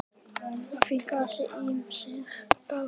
Að því grasi ýmsir dást.